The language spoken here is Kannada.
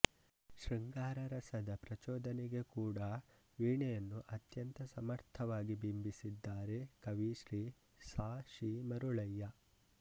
ಶೃಂಗಾರ ರಸದ ಪ್ರಚೋದನೆಗೆ ಕೂಡ ವೀಣೆಯನ್ನು ಅತ್ಯಂತ ಸಮರ್ಥವಾಗಿ ಬಿಂಬಿಸಿದ್ದಾರೆ ಕವಿ ಶ್ರೀ ಸಾ ಶಿ ಮರುಳಯ್ಯ